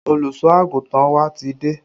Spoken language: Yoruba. Olùsọ àgùntàn wa ti dé